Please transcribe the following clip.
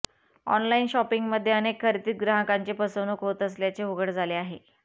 online शॉपिंगमध्ये अनेक खरेदीत ग्राहकांची फसवणूक होत असल्याचे उघड झाले आहे